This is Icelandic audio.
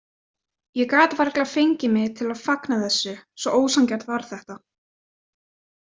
Ég gat varla fengið mig til að fagna þessu, svo ósanngjarnt var þetta.